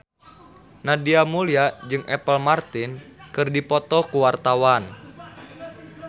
Nadia Mulya jeung Apple Martin keur dipoto ku wartawan